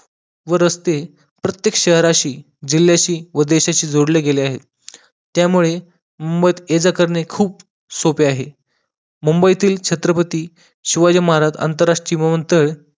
व रस्ते प्रत्येक शहरामध्ये जिल्ह्याशी व देशाशी जोडल्या गेलेली आहे त्यामुडे मुंबईत येजा करणे खूप सोपे आहे मुंबईतील छत्रपती शिवाजी महाराज अनंतरराष्ट्रीय भवन तर